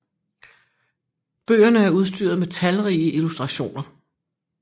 Bøgerne er udstyret med talrige illustrationer